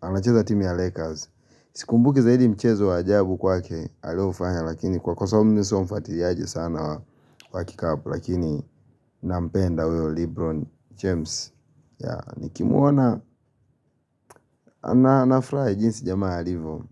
anacheza timu ya Lakers. Sikumbuki zaidi mchezo wa ajabu kwake alioufanya lakini kwa kwa sababu mimi sio mfatiriaji sana wa kikapu lakini nampenda huyo Lebron James ya nikimuona nafrai jinsi jamaa alivo.